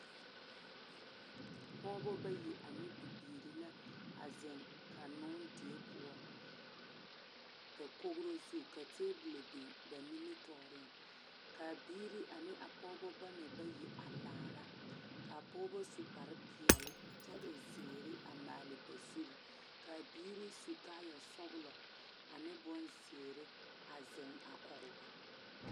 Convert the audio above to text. Pɔgeba bayi ane bibiiri la a zeŋ kannoo die poɔ dakogro zu ka tabolɔ biŋ ba nimitɔɔreŋ k,a biiri ane a pɔgeba bama bayi a laara k,a pɔgeba su kparepeɛle kyɛ e zeere a maale ba zuri k,a biiri su kaayasɔglɔ ane bonzeere a zeŋ a kɔge ba.